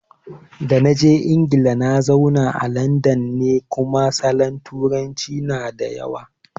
Da naje Ingila nazauna a landan ne, kuma salon turancin na dawuya